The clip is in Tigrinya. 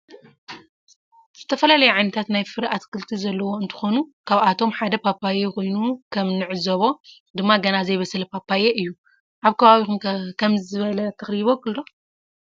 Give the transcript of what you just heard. ዝተፈላለዩ ዓይነታት ናይ ፍረ አትክልቲ ዘለዎ እንትኮን ካብአቶም ሓደ ፓፓየ ኮይኑ ከም ንዕዞቦ ድማ ገና ዘይበሰለ ፓፓየ እዩ። አብከባቢኩም ከ ከመዚ ዝበለ ተክሊ ይቦቅል ዶ?